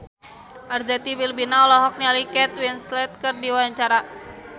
Arzetti Bilbina olohok ningali Kate Winslet keur diwawancara